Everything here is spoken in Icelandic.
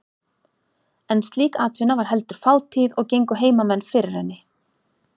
En slík atvinna var heldur fátíð og gengu heimamenn fyrir henni.